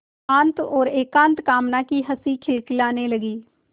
शांत और एकांत कामना की हँसी खिलखिलाने लगी